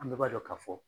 An bɛɛ b'a dɔn ka fɔ